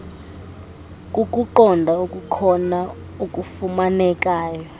kukuqonda okukhona okufumanekayo